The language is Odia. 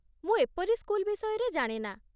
ମୁଁ ଏପରି ସ୍କୁଲ ବିଷୟରେ ଜାଣେ ନା।